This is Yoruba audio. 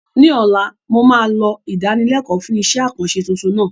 Ní ọ̀la, mo máa lọ ìdánilẹ́kọ̀ọ́ fún iṣẹ́-àkànṣe tuntun náà